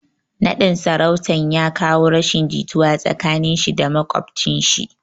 Naɗin sarautan ya kawo rashin jituwa tsakanin shi da maƙwabcin shi